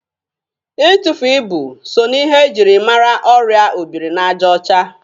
Itufu ibu so na ihe e jiri mara ọrịa obirinajaọcha.